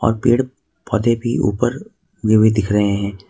और पेड़ पौधे भी ऊपर विविध दिख रहे हैं।